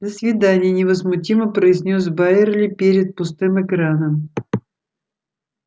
до свидания невозмутимо произнёс байерли перед пустым экраном